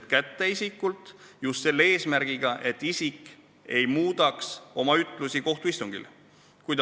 Prokurör on saanud isikult need ütlused ja on eesmärk, et isik oma ütlusi kohtuistungil ei muudaks.